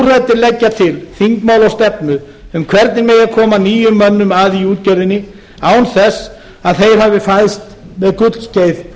leggja til þingmál og stefnu um hvernig megi koma nýjum mönnum að í útgerðinni án þess að þeir hafi fæðst með gullskeið